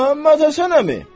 Məmmədhəsən əmi!